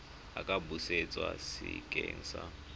a ka busetswa sekeng sa